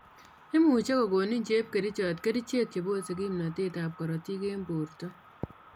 Imuche kokonin chepkerichot kerichek che bose kimnotet ab korotik en borto